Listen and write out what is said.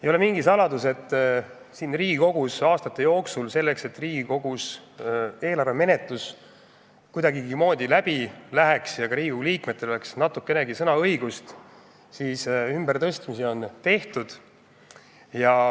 Ei ole mingi saladus, et Riigikogus on aastate jooksul selleks, et Riigikogus eelarve menetlus kuidagigi sujuks ja et rahvasaadikutel oleks natukenegi sõnaõigust, raha ümbertõstmist tehtud.